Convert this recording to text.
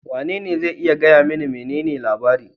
Wanene zai iya gaya mani menene labari?